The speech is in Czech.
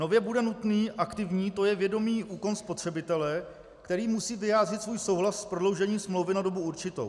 Nově bude nutný aktivní, to je vědomý úkon spotřebitele, který musí vyjádřit svůj souhlas s prodloužením smlouvy na dobu určitou.